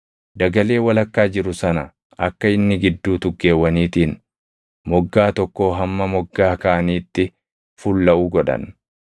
Dagalee walakkaa jiru sana akka inni gidduu tuggeewwaniitiin moggaa tokkoo hamma moggaa kaaniitti fullaʼu godhan.